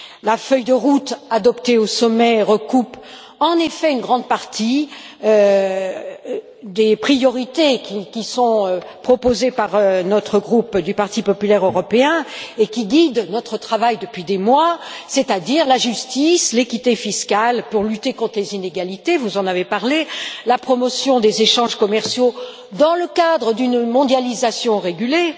La feuille de route adoptée au sommet recoupe en effet une grande partie des priorités qui sont proposées par notre groupe du Parti populaire européen et qui guident notre travail depuis des mois, c'est à dire la justice, l'équité fiscale, pour lutter contre les inégalités vous en avez parlé la promotion des échanges commerciaux dans le cadre d'une mondialisation régulée